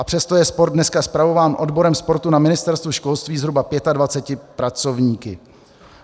A přesto je sport dneska spravován odborem sportu na Ministerstvu školství zhruba 25 pracovníky.